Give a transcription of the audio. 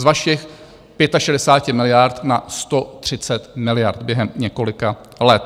Z vašich 65 miliard na 130 miliard během několika let.